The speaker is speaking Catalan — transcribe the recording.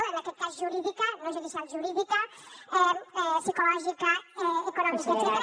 en aquest cas jurídica no judicial jurídica psicològica econòmica etcètera